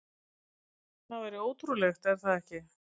Það væri ótrúlegt, er það ekki?